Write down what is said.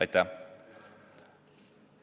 Aitäh!